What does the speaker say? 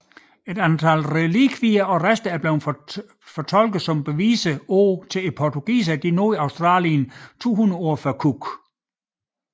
Et antal relikvier og rester er blevet tolket som beviser på at portugiserne nåede Australien 200 år før Cook